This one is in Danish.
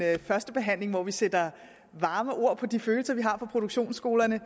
første behandling hvor vi sætter varme ord på de følelser vi har for produktionsskolerne